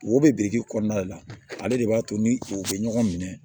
Wo bɛ biriki kɔnɔna de la ale de b'a to ni u bɛ ɲɔgɔn minɛ